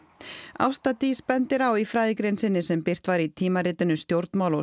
Ásta Dís bendir á í fræðigrein sinni sem birt var í tímaritinu stjórnmál og